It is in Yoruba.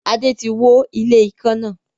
Adé tí wó ilé ikán náà.